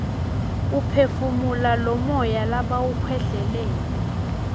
uphefumula lomuya labawukhwehlelele